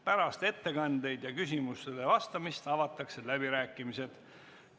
Pärast ettekandeid ja küsimustele vastamist avatakse läbirääkimised.